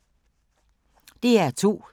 DR2